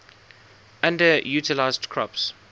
underutilized crops